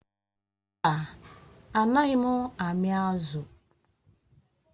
Mba, Anaghị m ami azụ̀